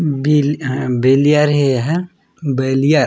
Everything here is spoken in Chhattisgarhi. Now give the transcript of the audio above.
बिल अहं बैलियर हे ये ह बैलियर --